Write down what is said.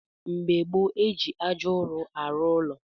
Mgbe gboo, eji ájá ụrụ arụ ụlọ